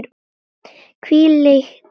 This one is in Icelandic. Hvílíkt minni!